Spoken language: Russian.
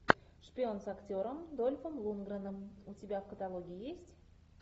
шпион с актером дольфом лундгреном у тебя в каталоге есть